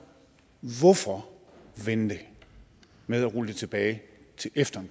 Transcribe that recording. hvorfor vente med at rulle det tilbage til efter